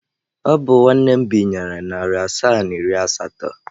Ọ bụ nwanne m binyere narị asaa na iri asatọ.